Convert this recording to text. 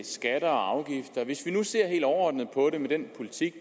skatter og afgifter hvis vi nu ser helt overordnet på den politik